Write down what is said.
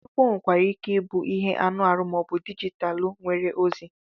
Akwụkwọ nwere ike ịbụ ihe anụ ahụ ma ọ bụ dijitalụ nwere ozi